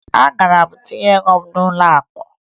Agara m tinye ego m n'ụlọakụ